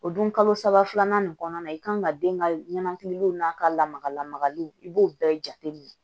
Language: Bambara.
O dun kalo saba filanan in kɔnɔna na i kan ka den ka ɲɛnɛkililiw n'a ka lamaga lamagaliw i b'o bɛɛ jate minɛ